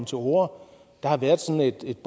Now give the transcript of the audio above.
til orde der har været sådan et